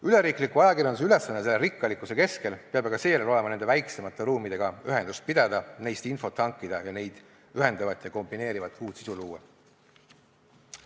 Üleriikliku ajakirjanduse ülesanne selle rikkalikkuse keskel peab aga seejärel olema nende väiksemate ruumidega ühendust pidada, neist infot hankida ja neid ühendavat ja kombineerivat uut sisu luua.